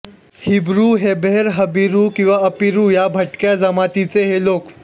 Hebrew Heber Habiru किवा Apiru या भटक्या जमातीचे हे लोक